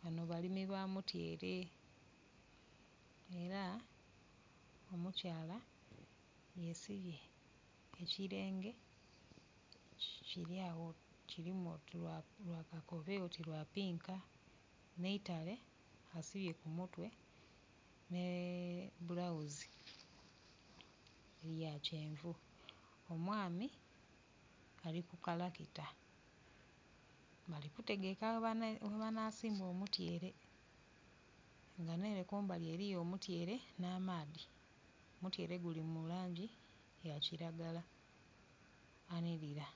Banho balimi ba mutyere, era omukyaala yeesibye ekilenge kiri agho kirimu oti lwakakobe oti lwapinka. Nh'eitale asibye ku mutwe nh'ebulauzi ya kyenvu. Omwami ali ku kalakita ali kutegeka webanasimba omutyere. Nga nh'ere kumbali eriyo omutyere n'amaadhi, omutyere guli mu langi ya kiragala anirira,